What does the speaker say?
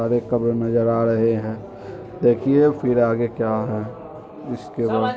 और एक कब्र नजर आ रहे है देखिए फिर आगे क्या हैइसके----